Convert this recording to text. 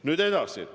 Nüüd edasi.